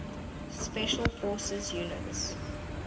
special forces units